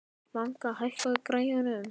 Manga, hækkaðu í græjunum.